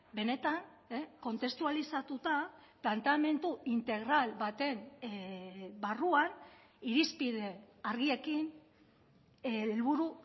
benetan kontestualizatuta planteamendu integral baten barruan irizpide argiekin helburu